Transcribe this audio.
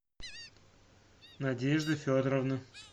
надежды федоровны